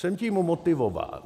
Jsem tím motivován...